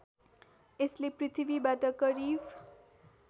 यसले पृथ्वीबाट करिब